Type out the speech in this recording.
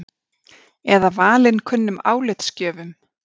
Eða valinkunnum álitsgjöfum?